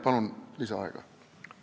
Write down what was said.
Palun lisaaega!